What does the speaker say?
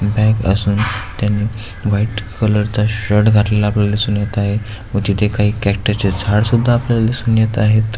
Bank असून त्यांनी white colour चा शर्ट घातलेला आपल्याला दिसून येत आहेत व तिथे काही कॅक्टस चे झाड सुद्धा आपल्याला दिसून येत आहेत.